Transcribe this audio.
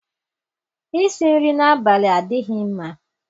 Isi nri n'abalị adịghị mma.